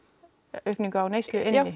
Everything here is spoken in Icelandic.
aukningu á neyslu inni já